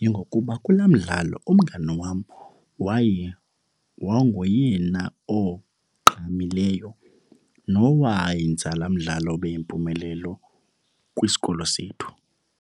yingokuba kulaa mdlalo umngani wam waye wayengoyena ogqamileyo nowayenza laa mdlalo abe yimpumelelo kwisikilo sethu.